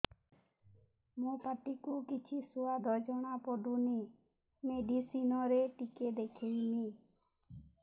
ମୋ ପାଟି କୁ କିଛି ସୁଆଦ ଜଣାପଡ଼ୁନି ମେଡିସିନ ରେ ଟିକେ ଦେଖେଇମି